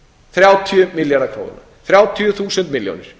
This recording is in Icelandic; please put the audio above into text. þrjátíu milljarðar króna þrjátíu þúsund milljónir